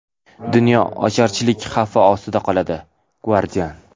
dunyo ocharchilik xavfi ostida qoladi — Guardian.